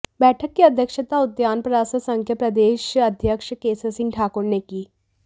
बैठक की अध्यक्षता उद्यान प्रसार संघ के प्रदेश अध्यक्ष केसर सिंह ठाकुर ने की